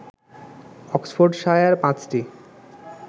Oxfordshire পাঁচটি